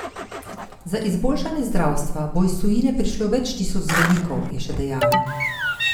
Za izboljšanje zdravstva bo iz tujine prišlo več tisoč zdravnikov, je še dejala.